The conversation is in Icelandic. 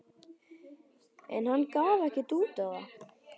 En hann gaf ekkert út á það.